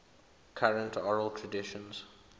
current oral traditions